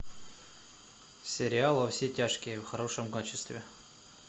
сериал во все тяжкие в хорошем качестве